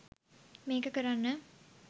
මේක කරන්න